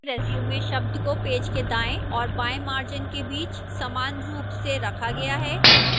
resume शब्द को page के दाएं और बाएं margin के बीच समान रूप से रखा गया है